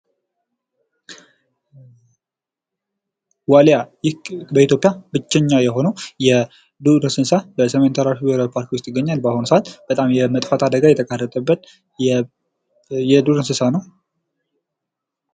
ዋሊያ ይህ በኢትዮጵያ ብቸኛ የሆነው የዱር እንስሳ በሰሜን ተራሮች ብሔራዊ ፓርክ ውስጥ ይገኛል። በአሁኑ ሰአት በጣም የመጥፋት አደጋ የተጋረጠበት የዱር እንስሳ ነው።